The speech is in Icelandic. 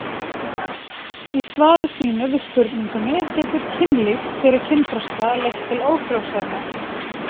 Í svari sínu við spurningunni Getur kynlíf fyrir kynþroska leitt til ófrjósemi?